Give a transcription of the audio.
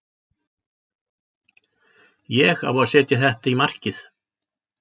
Ég á að setja þetta í markið.